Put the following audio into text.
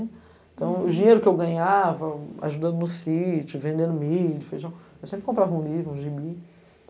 Uhum. Então, o dinheiro que eu ganhava ajudando no sítio, vendendo milho, feijão, eu sempre comprava um livro, um gibi.